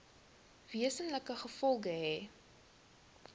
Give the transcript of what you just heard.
wesenlike gevolge hê